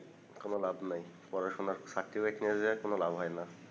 কোন লাভ নাই পড়াশোনার নিয়ে যাইয়া কোন লাভ হয়না